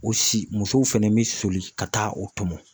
O si musow fɛnɛ bi soli ka taa o tɔmɔ.